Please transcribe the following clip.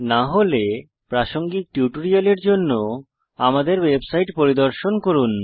না হলে প্রাসঙ্গিক টিউটোরিয়ালের জন্য আমাদের ওয়েবসাইট পরিদর্শন করুন